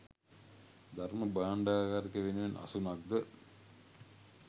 ධර්ම භාණ්ඩාගාරික වෙනුවෙන් අසුනක් ද